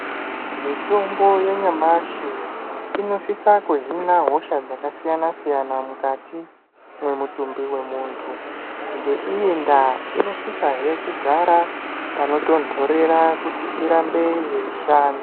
Mitongo yanyamashi inosisa kuhina hosha dzakasiyana-siyana mukati mwemutumbi wemuntu ngeiyi ndaa inosisahe kugara panotontorera kuti irambe yeishanda.